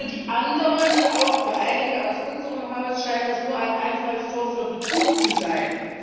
Für die anderen auch für einige aus unserem Haus scheint sie nur ein Einfallstor für Betrug zu sein.